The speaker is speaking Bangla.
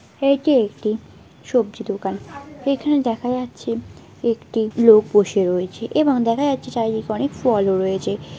এইটি একটি সবজি দোকান এখানে দেখা যাচ্ছে একটি লোক বসে রয়েছে এবং দেখা যাচ্ছে চারিদিকে অনেক ফলও রয়েছে ।